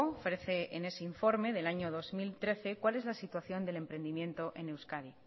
ofrece en ese informe del año dos mil trece cuál es la situación del emprendimiento en euskadi